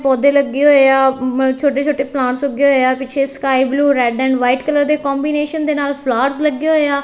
ਪੌਧੇ ਲੱਗੇ ਹੋਏ ਆ ਛੋਟੇ ਛੋਟੇ ਪਲਾਂਟਸ ਉੱਗੇ ਹੋਏ ਆ ਪਿੱਛੇ sky blue red and white colour ਦੇ ਕੋਂਬੀਨੇਸ਼ਨ ਦੇ ਨਾਲ ਫਲਾਵਰਸ ਲੱਗੇ ਹੋਏ ਆ।